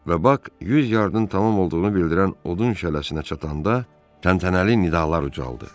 Və Bak 100 yardın tamam olduğunu bildirən odun şələsinə çatanda təntənəli nidalar ucaldıldı.